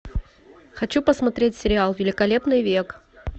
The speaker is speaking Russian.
хочу посмотреть сериал великолепный век